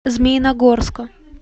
змеиногорска